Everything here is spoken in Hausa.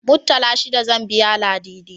Muttala shida zan biya Ladidi.